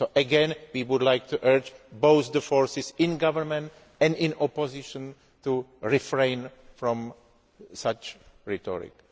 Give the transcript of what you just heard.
Again we would like to urge both the forces in government and in opposition to refrain from such rhetoric.